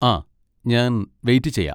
ആ, ഞാൻ വെയിറ്റ് ചെയ്യാ.